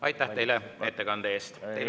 Aitäh teile ettekande eest!